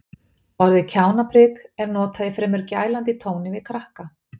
Orðið kjánaprik er notað í fremur gælandi tóni við krakka.